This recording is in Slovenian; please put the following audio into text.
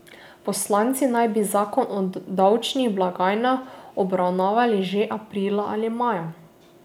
Poslanci naj bi zakon o davčnih blagajnah obravnavali že aprila ali maja.